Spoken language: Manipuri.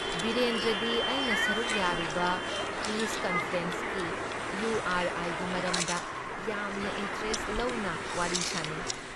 ꯕꯤꯔꯦꯟꯗ꯭ꯔꯗꯤ ꯑꯩꯅ ꯁꯔꯨꯛ ꯌꯥꯔꯨꯕ ꯄꯤꯁ ꯀꯟꯐꯔꯦꯟꯁꯀꯤ, ꯏꯌꯨ ꯑꯥꯔ ꯑꯥꯏꯒꯤ ꯃꯔꯝꯗ ꯌꯥꯝꯅ ꯏꯟꯇꯔꯦꯁꯠ ꯂꯧꯅ ꯋꯥꯔꯤ ꯁꯥꯟꯅꯩ ꯫